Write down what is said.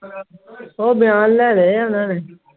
ਉਹ ਬਿਆਨ ਲੈਣੇ ਆ ਓਨਾ ਨੇ